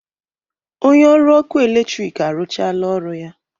Onye ọrụ ọkụ eletrik arụchaala ọrụ ya